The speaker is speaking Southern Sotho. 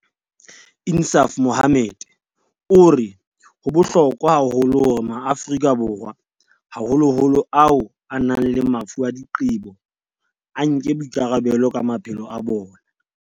Insaaf Mohammed o re ho bohlokwa haholo hore Maafrika Borwa, haholoholo ao a nang le mafu a diqebo, a nke boikarabelo ka maphelo a bona.